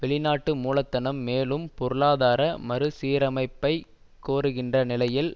வெளிநாட்டு மூலதனம் மேலும் பொருளாதார மறு சீரமைப்பைக் கோருகின்ற நிலையில்